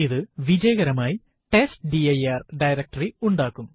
ഇത് വിജയകരമായി test dir directory ഉണ്ടാക്കും